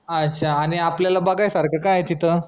अच्छा आनि आपल्याला बघायसारखं काय आय तिथं